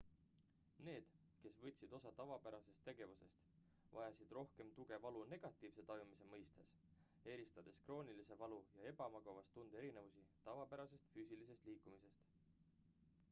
need kes võtsid osa tavapärastest tegevustest vajasid rohkem tuge valu negatiivse tajumise mõistes eristades kroonilise valu ja ebamugavustunde erinevusi tavapärasest füüsilisest liikumisest